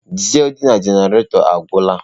Dizelụ dị na jenaretọ agwụla.